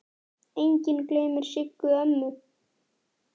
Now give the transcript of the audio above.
Enginn gleymir Siggu ömmu.